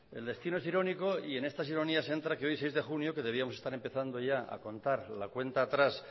el destino es irónico y en estas ironías que hoy seis de junio que debíamos estar empezando ya a contar la cuenta atrás